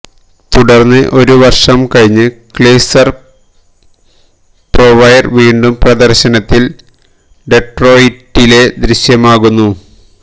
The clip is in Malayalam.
തുടർന്ന് ഒരു വർഷം കഴിഞ്ഞ് ക്രിസ്ലർ പ്രൊവ്ലെര് വീണ്ടും പ്രദർശനത്തിൽ ഡെട്രോയിറ്റിലെ ദൃശ്യമാകുന്നു